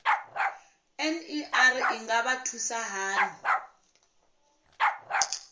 ner i nga vha thusa hani